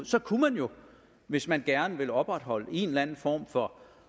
så kunne man jo hvis man gerne ville opretholde en eller anden form for